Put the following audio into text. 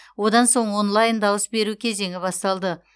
одан соң онлайн дауыс беру кезеңі басталды